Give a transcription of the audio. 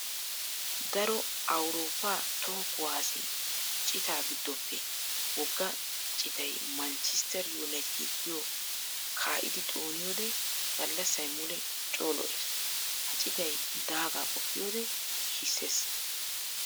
Daro Awurooppa toho kuwase cita giddoppe wogga citay 'Manchester united' giyo kaa'iddi xooniyodde galasay mule coo lo'ees. Ha citay daaga qoppiyodde nashisees.